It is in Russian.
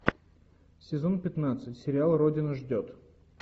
сезон пятнадцать сериал родина ждет